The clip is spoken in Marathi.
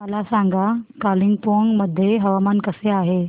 मला सांगा कालिंपोंग मध्ये हवामान कसे आहे